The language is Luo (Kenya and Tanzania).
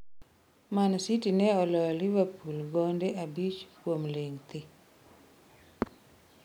Man City ne oloyo Liverpool gonde abich kuom ling thi